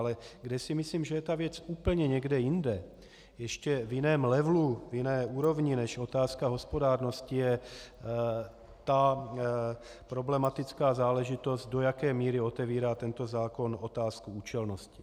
Ale kde si myslím, že je ta věc úplně někde jinde, ještě v jiném levelu, v jiné úrovni než otázka hospodárnosti, je ta problematická záležitost, do jaké míry otevírá tento zákon otázku účelnosti.